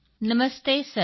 ਨਮਸਤੇ sir